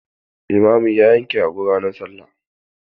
Limamin ya yanka rago ranar Sallah.